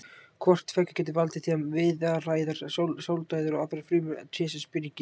Hvort tveggja getur valdið því að viðaræðar, sáldæðar og aðrar frumur trésins springi.